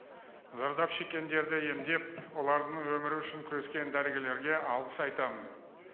зардап шеккендерді емдеп олардың өмірі үшін күрескен дәрігерлерге алғыс айтамын